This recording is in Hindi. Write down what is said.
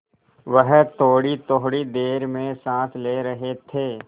वह थोड़ीथोड़ी देर में साँस ले रहे थे